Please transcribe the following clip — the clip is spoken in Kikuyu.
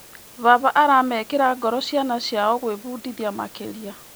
Baba aramekĩra ngoro ciana ciao gwĩbundithia makĩria.